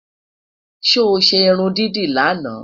sọ ṣé irún dídì laana?